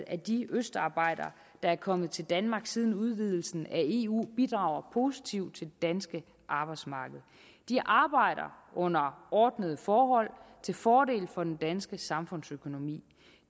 af de østarbejdere der er kommet til danmark siden udvidelsen af eu bidrager positivt til det danske arbejdsmarked de arbejder under ordnede forhold til fordel for den danske samfundsøkonomi